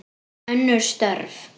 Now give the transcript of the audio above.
Önnur störf.